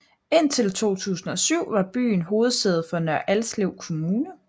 Indtil 2007 var byen hovedsæde for Nørre Alslev Kommune